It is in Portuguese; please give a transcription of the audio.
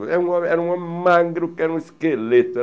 Era um homem era um homem magro, que era um esqueleto.